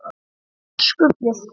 Elsku Bjössi minn.